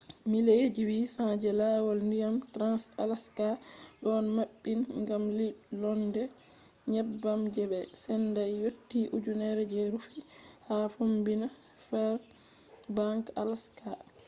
mileji 800 je lawol ndiyam trans-alaska ɗon maɓɓin gam ɓilonde nyebbam je ɓe sendai yotti ujunere je rufi ha fombina fairbanks alaska